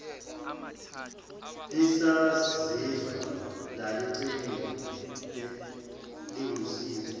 lisazizwa lalicebile liwusizo